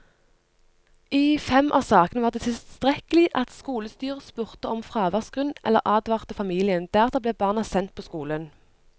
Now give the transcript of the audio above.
I fem av sakene var det tilstrekkelig at skolestyret spurte om fraværsgrunn eller advarte familiene, deretter ble barna sendt på skolen.